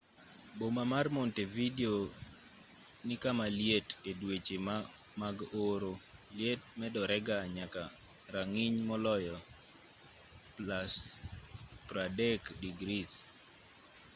boma mar montevideo ni kama liet; e dweche mag oro liet medorega nyaka rang'iny moloyo +30°c